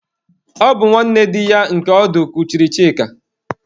Ọ bụ nwanne di ya nke ọdụ kuchiri Chika.